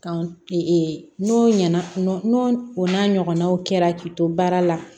Kan n'o ɲɛna n'o o n'a ɲɔgɔnnaw kɛra k'i to baara la